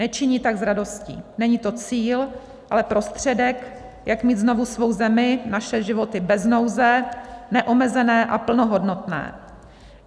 Nečiní tak s radostí, není to cíl, ale prostředek, jak mít znovu svou zemi, naše životy bez nouze, neomezené a plnohodnotné.